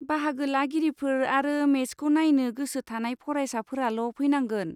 बाहागो लागिरिफोर आरो मेचखौ नायनो गोसो थानाय फरायसाफोराल' फैनांगोन।